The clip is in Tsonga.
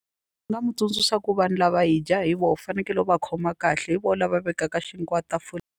Ni nga mu tsundzuxa ku vanhu lava hi dya hi vona u fanekele u va khoma kahle hi vona lava vekaka xinkwa .